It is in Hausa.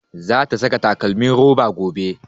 Za ta saka takalmin roba gobe